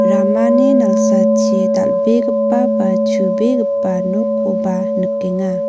ramani nalsachi dal·begipa ba chubegipa nokkoba nikenga.